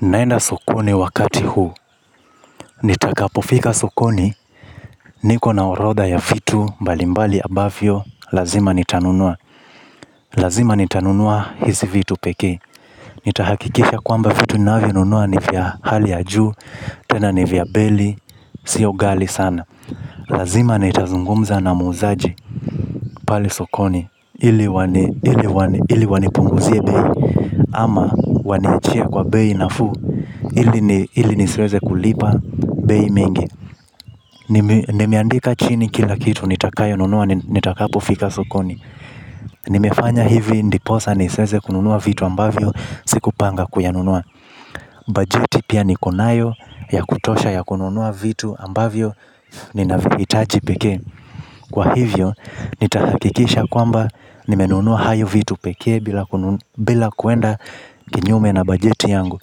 Naenda sokoni wakati huu. Nitakapofika sokoni. Niko na orodha ya vitu mbalimbali ambavyo lazima nitanunua. Lazima nitanunua hizi vitu pekee. Nitahakikisha kwamba vitu ninavyo nunua ni vya hali ya juu. Tena ni vya baili. Sio ghali sana lazima nitazungumza na muuzaji. Pale sokoni ili wanipunguzie bei ama waniwachie kwa bei nafuu ili nisiweze kulipa bei mingi. Nimeandika chini kila kitu nitakayo nunua nitakapo fika sokoni. Nimefanya hivi ndiposa nisiweze kununua vitu ambavyo sikupanga kuyanunua bajeti pia niko nayo ya kutosha ya kununua vitu ambavyo ninavyo hitaji pekee. Kwa hivyo nitahakikisha kwamba nimenunua hayo vitu pekee bila kuenda kinyume na bajeti yangu.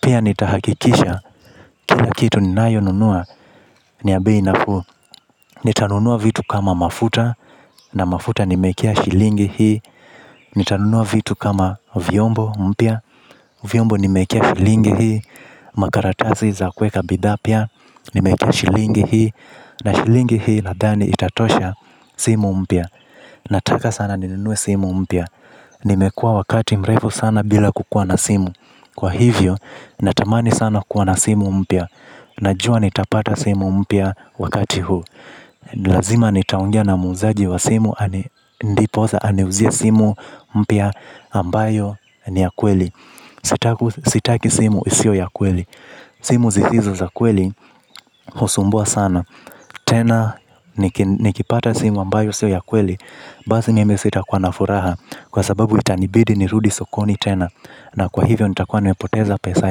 Pia nitahakikisha kila kitu ninayo nunua ni ya bei nafuu. Nitanunua vitu kama mafuta. Na mafuta nimewekea shilingi hii. Nitanunua vitu kama vyombo mpya. Vyombo ni mekia shilingi hii. Makaratasi za kuweka bidhaa pia. Ni mekia shilingi hii na shilingi hii nadhani itatosha simu mpya. Nataka sana ninunue simu mpya. Nimekua wakati mrefu sana bila kukua na simu. Kwa hivyo natamani sana kuwa na simu mpya najua nitapata simu mpya wakati huu. Lazima nitaongea na muuzaji wa simu, ndiposa, aniuzie simu mpya ambayo ni ya kweli. Sitaki simu isiyo ya kweli. Simu zisizo za kweli, husumbua sana. Tena, nikipata simu ambayo siyo ya kweli. Basi mimi sitakuwa na furaha. Kwa sababu itanibidi nirudi sokoni tena. Na kwa hivyo nitakuwa nimepoteza pesa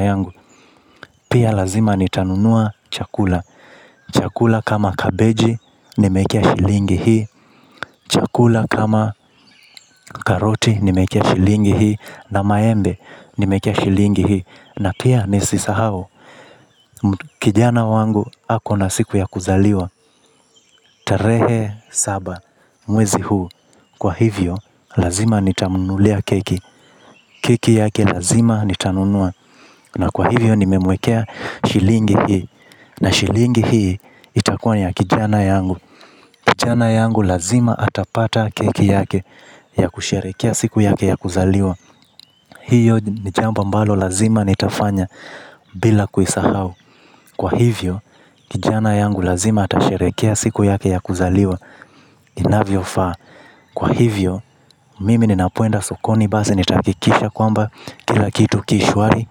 yangu. Pia lazima nitanunua chakula. Chakula kama kabeji nimewekea shilingi hii chakula kama karoti nimewekea shilingi hii na maembe nimewekea shilingi hii na pia nisisahau kijana wangu ako na siku ya kuzaliwa. Tarehe saba mwezi huu. Kwa hivyo lazima nitamnunulia keki. Keki yake lazima nitanunua. Na kwa hivyo nimemwekea shilingi hii. Na shilingi hii itakuwa ya kijana yangu. Kijana yangu lazima atapata keki yake ya kusherehekea siku yake ya kuzaliwa. Hiyo ni jambo ambalo lazima nitafanya bila kuisahau. Kwa hivyo, kijana yangu lazima atasherehekea siku yake ya kuzaliwa inavyo faa. Kwa hivyo, mimi ninapoenda sokoni basi nitahakikisha kwamba kila kitu ki shwari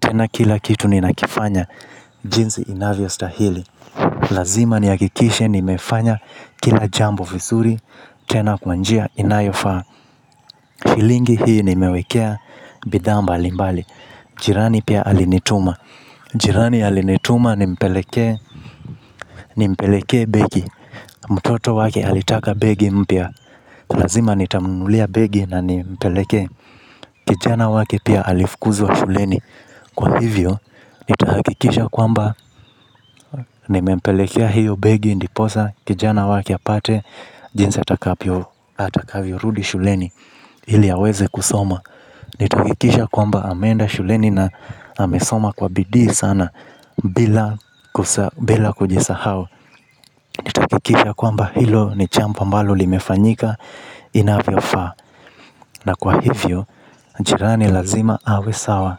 tena kila kitu ninakifanya jinsi inavyostahili. Lazima nihakikisha nimefanya kila jambo vizuri tena kwa njia inayofaa shilingi hii nimewekea bidhaa mbalimbali. Jirani pia alinituma. Jirani alinituma nimpelekee nimplekee begi, mtoto wake alitaka begi mpya lazima nitamunulia begi na nimpelekee. Kijana wake pia alifukuzwa shuleni. Kwa hivyo nitahakikisha kwamba nimempelekea hiyo begi ndiposa kijana wake apate. Jinsi atakavyo rudi shuleni ili aweze kusoma. Nitahakikisha kwamba ameenda shuleni na amesoma kwa bidii sana. Bila kujisahau nitahakikisha kwamba hilo ni jambo ambalo limefanyika inavyo faa. Na kwa hivyo, jirani lazima awe sawa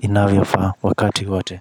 inavyo faa wakati wote.